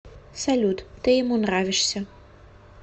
салют ты ему нравишься